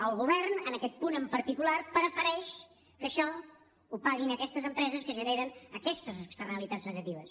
el govern en aquest punt en particular prefereix que això ho paguin aquestes empreses que generen aquestes externalitats negatives